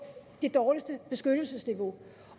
det dårligste beskyttelsesniveau